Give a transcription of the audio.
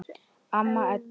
Amma Edda.